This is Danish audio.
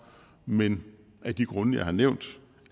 men af de grunde jeg har nævnt